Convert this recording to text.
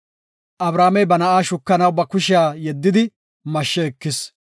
Abrahaamey ba na7a shukanaw ba kushiya yeddidi mashshe ekis.